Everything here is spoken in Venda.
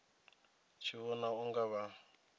tshi vhona u nga vha